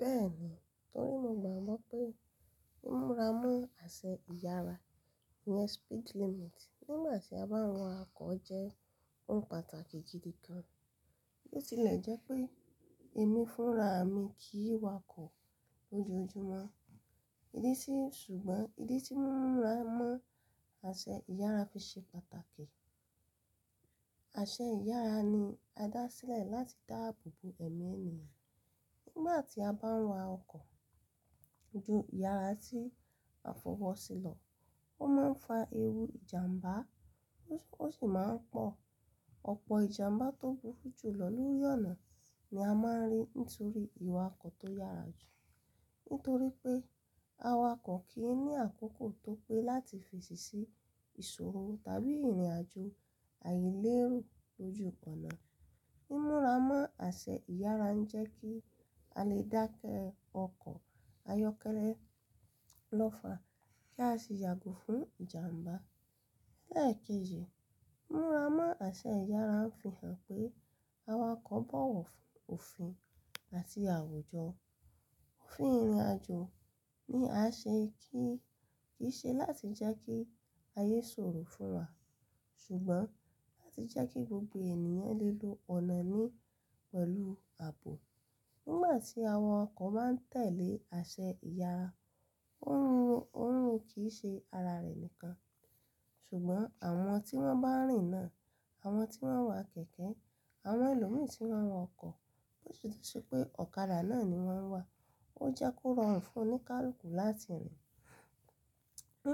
Bẹ́ẹ̀ni, torí mo gbàgbọ́ pé mu múra mọ́ aṣẹ ìyára ìyẹn speed limit nígbà tí a bá ń wa ọkọ̀ jẹ́ ohun pàtàkì gidi gan. Bo ti ilẹ̀ jẹ́ pé èmi fúnra mi kì í wakọ̀ lójoojúmọ́, ìdí sí, ṣùgbọ́n ìdí tí múra mọ́ aṣẹ ìyára fi ṣe pàtàkì. Aṣẹ ìyára ni a dá sílẹ̀ láti dáàbò bo ẹ̀mí ènìyàn. Nígbà tí a bá ń wa ọkọ̀ ju ìyára tí a fọwọ́ sí lọ, ó máa ń fa ewu ìjàmbá, ó sì máa ń pọ̀. Ọ̀pọ̀ ìjàmbá tó burú jù lọ lórí ọ̀nà ni a máa ń rí nítorí ìwakọ̀ tó yára jù. Nítorí pé awakọ̀ kì í ní àkókò tó pé láti fèsì sí ìṣòro tàbí ìrìnàjò àìléro lójú ọ̀nà. Múra mọ́ aṣẹ ìyára ń jẹ́ kí a lè dákẹ́ ọkọ̀ ayọ́kẹ́lẹ́ lọ́fa kí a sì yàgò fún ìjàmbá. Lẹ́ẹ̀kejì, múra mọ́ aṣẹ ìyára ń fi hàn pé awakọ̀ bọ̀wọ̀ fún òfin àti àwùjọ. Òfin ìrìnàjò ni a ṣe kí í ṣe láti já kí ayé ṣòro fún wa, ṣùgbọ́n láti jẹ kí gbogbo ènìyàn lè lo ọ̀nà ní pẹ̀lú ààbò. Nígbà tí àwọn ọkọ̀ máa ń tẹ̀lé aṣẹ ìyára, ó ń rí kìí ṣe ara rẹ̀ nìkan, ṣùgbọ́n àwọn tí wọ́n bá rìn náà, àwọn tí wọ́n wa kẹ̀kẹ́, àwọn ẹlòmíi tí wọ́n ń wa ọkọ̀, bosi tun se pé ọ̀kadà náà ni wọ́n ń wa, ó jẹ́ kó rọrùn fún un ní káàkú láti rìn.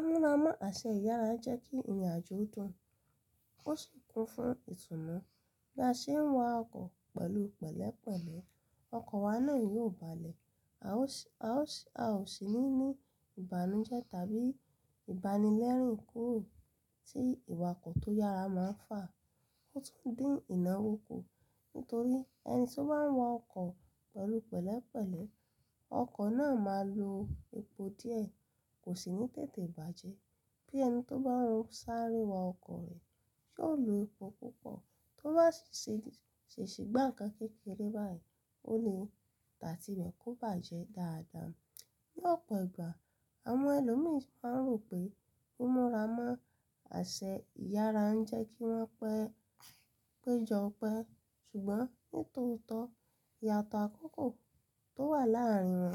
Múra mọ́ aṣẹ ìyára ń jẹ́ kí ìrìnàjò dùn, ó sì kún fún ìtùnú. Bí a ṣe ń wa ọkọ̀ pẹ̀lú pẹ̀lẹ́pẹ̀lẹ́, ọkọ̀ wa náà yóò balẹ̀, a ó sì ní ní ìbànújẹ́ tàbí ìbánilẹ́rìn kúrò tí ìwakọ̀ tó yára máa ń fà, ó tún dín ìnáwó kù. Nítorí ẹni tí ó bá ń wa ọkọ̀ pẹ̀lú pẹ̀lẹ́pẹ̀lẹ́, ọkọ̀ náà máa lo epo díẹ̀, kò sì ní tètè bàjẹ́. Bí ẹni tó bá ń sáré wa ọkọ̀ rẹ̀ yóò lo epo púpọ̀, tó bá se ṣi gbáǹkan kékeré báyìí, ó lè tatií ibẹ̀ kó bàjẹ́ dáadáa. Ní ọ̀pọ̀ ìgbà, àwọn ẹlòmí máa ń rò pé mu múra mọ́ aṣẹ ìyára ń jẹ́ kí wọ́n pẹ́ jọ pẹ́, ṣùgbọ́n nítòótọ́, ìyàtọ̀ àkọ́kọ̀ tó wà láàárín wọn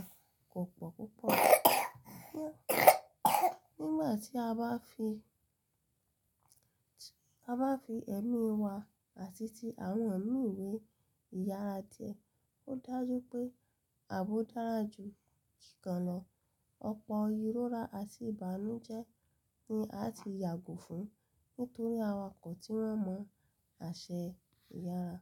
kò pọ̀ púpọ̀. Nígbà tí a bá fi ẹ̀mí wa àti ti àwọn mìí wé ìyára díẹ̀, ó dájú pé ààbò dára jù ìgànnà. Ọ̀pọ̀ ìrora àti ìbànújẹ́ ni à á ti yàgò fún un nítorí awakọ̀ tí wọ́n mọ̀ aṣẹ ìyára.